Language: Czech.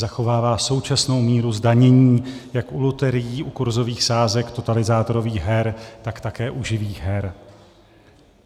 Zachovává současnou míru zdanění jak u loterií, u kurzových sázek, totalizátorových her, tak také u živých her.